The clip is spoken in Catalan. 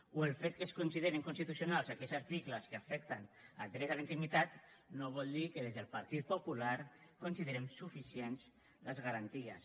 o el fet que es considerin constitucionals aquells articles que afecten el dret a la intimitat no vol dir que des del partit popular considerem suficients les garanties